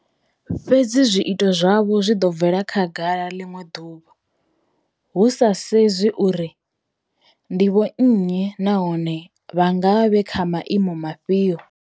Fhedzi zwiito zwavho zwi ḓo bvela khagala ḽiṅwe ḓuvha, hu sa sedzwi uri ndi vhonnyi nahone vha nga vha vhe kha maimo afhio.